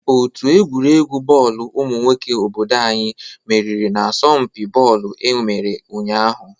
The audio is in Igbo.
Òtù egwuregwu bọọlụ umụ nwoke obodo anyị meriri n'asompi bọọlụ e mere ụnyaahụ.